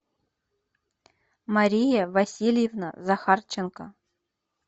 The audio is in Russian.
мария васильевна захарченко